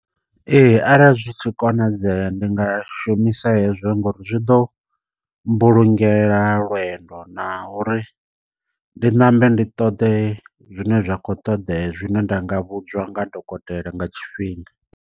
Ee arali zwi tshi konadzea ndi nga shumisa hezwo nga uri zwi ḓo mbulungela lwendo na uri ndi ṋambe ndi ṱoḓe zwine zwa kho ṱoḓea zwine nda nga vhudzwa nga dokotela nga tshifhinga.